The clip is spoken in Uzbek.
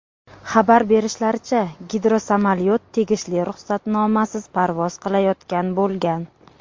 Xabar berishlaricha, gidrosamolyot tegishli ruxsatnomasiz parvoz qilayotgan bo‘lgan.